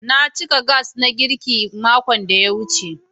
Na cika Gas na girki makon da ya wuce.